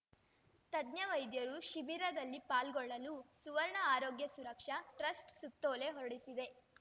ತಜ್ಞ ವೈದ್ಯರು ಶಿಬಿರದಲ್ಲಿ ಪಾಲ್ಗೊಳ್ಳಲು ಸುವರ್ಣ ಆರೋಗ್ಯ ಸುರಕ್ಷಾ ಟ್ರಸ್ಟ್‌ ಸುತ್ತೋಲೆ ಹೊರಡಿಸಿದೆ